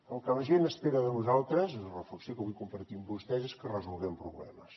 el que la gent espera de nosaltres és la reflexió que vull compartir amb vostès és que resolguem problemes